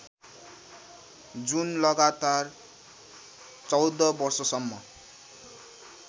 जुन लगातार १४ वर्षसम्म